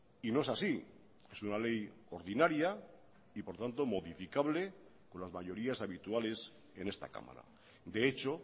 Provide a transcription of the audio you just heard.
y no es así es una ley ordinaria y por tanto modificable con las mayorías habituales en esta cámara de hecho